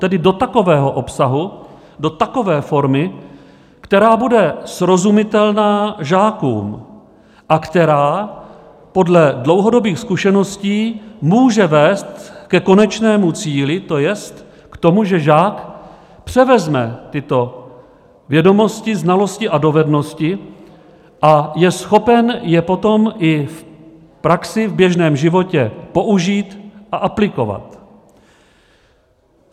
Tedy do takového obsahu, do takové formy, která bude srozumitelná žákům a která podle dlouhodobých zkušeností může vést ke konečnému cíli, to jest k tomu, že žák převezme tyto vědomosti, znalosti a dovednosti a je schopen je potom i v praxi, v běžném životě, použít a aplikovat.